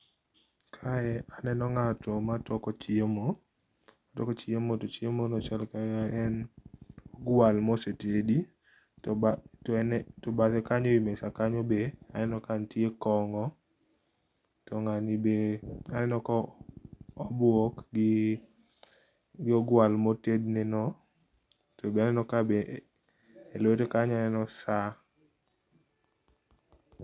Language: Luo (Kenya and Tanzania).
Kae aneno ngato ma toko chiemo toko chiemo to chiemo no chalo ka en ogwal mosetedi, to bathe kanyo e mesa kanyo be aneno kanitie kongo. To ngani be aneno ka obuok gi ogwal ma otedne no, to be aneno kabe elwete kanyo aneno saa